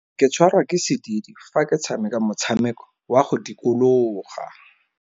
Ke tshwarwa ke sediidi fa ke tshameka motshameko wa go dikologa.